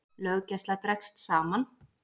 Löggæsla dregst saman